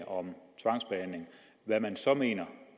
om hvad man så mener